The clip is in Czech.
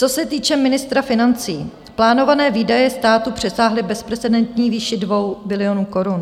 Co se týče ministra financí, plánované výdaje státu přesáhly bezprecedentní výši 2 bilionů korun.